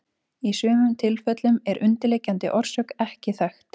Í sumum tilfellum er undirliggjandi orsök ekki þekkt.